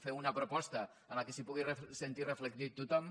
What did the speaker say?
fer una proposta en la qual es pugui sentir reflectit tothom